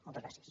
moltes gràcies